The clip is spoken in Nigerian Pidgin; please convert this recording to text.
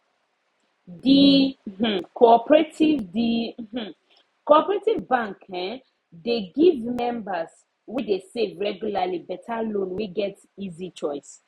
d um cooperative d um cooperative bank um dey give members wey dey save regularly better loan wey get easy choice